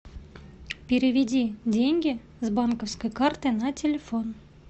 переведи деньги с банковской карты на телефон